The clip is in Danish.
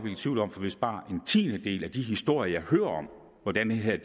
i tvivl om for hvis bare en tiendedel af de historier hører om hvordan det her